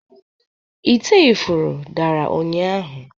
ite ifuru dara ụnyahụ